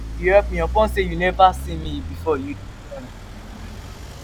you help me upon sey you neva see me before you do well.